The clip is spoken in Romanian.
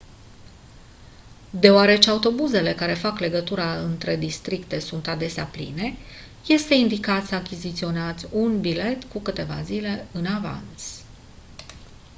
deoarece autobuzele care fac legătura între districte sunt adesea pline este indicat să achiziționați un bilet cu câteva zile în avans